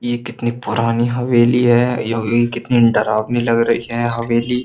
ये कितनी पुरानी हवेली है यह कितनी डरावनी लग रही है हवेली।